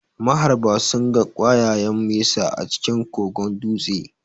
Maharba sunga ƙwayayen mesa a cikin kogon dutse